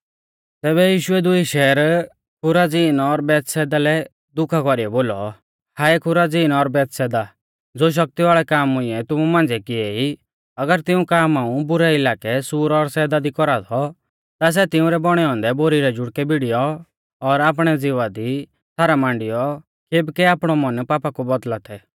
तैबै यीशुऐ दुई शहर खुराजीन और बैतसैदा लै दुखा कौरीऐ बोलौ हाऐ खुराजीन और बैतसैदा ज़ो शक्ति वाल़ै काम मुंइऐ तुमु मांझ़िऐ किएई अगर तिऊं काम हाऊं बुरै इलाकै सूर और सैदा दी कौरा थौ ता सै तिंउरै बौणै औन्दै बोरी रै जुड़कै भिड़ीयौ और आपणै ज़िवा दी छ़ारा मांडियौ केबकै आपणौ मन पापा कु बौदल़ा थै